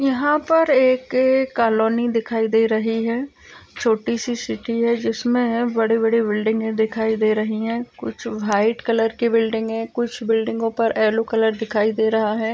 यहाँ पर एक कालोनी दिखाई दे रही है। छोटी सी सिटी है जिसमें बड़ी बड़ी बिल्डिंगे दिखाई दे रही हैं। कुछ व्हाइट कलर की बिल्डिंगे कुछ बिल्डिंगो पर येलो कलर दिखाई दे रहा है।